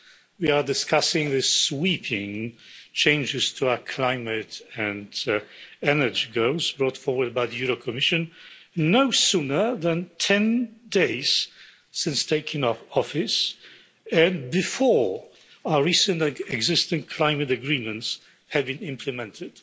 We are discussing the sweeping changes to our climate and energy goals brought forward by the European Commission no sooner than 10 days since taking up office and before our recent, existing climate agreements have been implemented.